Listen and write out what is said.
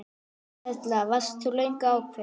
Erla: Varst þú löngu ákveðin?